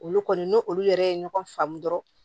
Olu kɔni n'u olu yɛrɛ ye ɲɔgɔn faamu dɔrɔnw